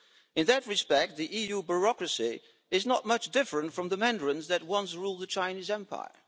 In that respect the EU bureaucracy is not much different from the mandarins that once ruled the Chinese empire.